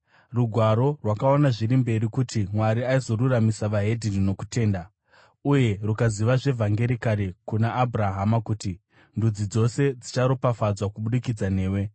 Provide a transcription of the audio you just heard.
Rugwaro rwakaona zviri mberi kuti Mwari aizoruramisa veDzimwe Ndudzi nokutenda, uye rukazivisa zvevhangeri kare kuna Abhurahama kuti, “Ndudzi dzose dzicharopafadzwa kubudikidza newe.”